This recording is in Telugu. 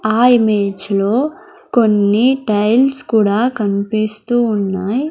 ఆ ఇమేజ్ లో కొన్ని టైల్స్ కూడా కన్పిస్తూ ఉన్నాయ్.